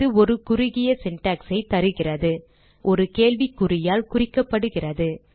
இது ஒரு குறுகிய syntax ஐ தருகிறது மேலும் ஒரு கேள்விக்குறியால் குறிக்கப்படுகிறது